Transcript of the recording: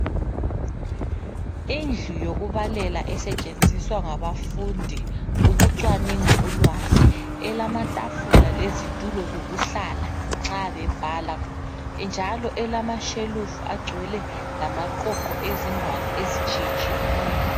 Indlu yokubalela esetshenziswa ngabafundi ukucwaninga ulwazi. Elamatafula lezitulo zokuhlala nxa bebhala njalo elamashelufu agcwele lamaqoqo ezingwalo ezitshiyetshiyeneyo.